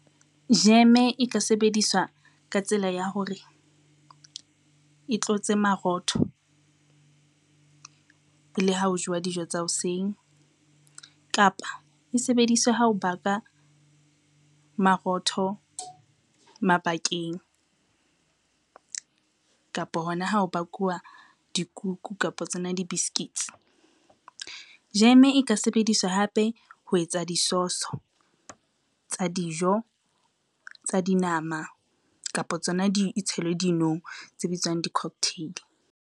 Jeme e ka sebediswa ka tsela ya hore e tlotse marotho, le ha ho jewa dijo tsa hoseng kapa e sebediswe ha o baka marotho mabakeng, kapo hona ha o bakuwa dikuku kapa tsona di-biscuits. Jeme e ka sebediswa hape ho etsa disoso tsa dijo, tsa dinama kapa tsona e tshelwe dinong tse bitswang di-cocktail.